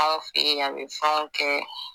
Aw fɛ yen a bɛ fɛnw kɛ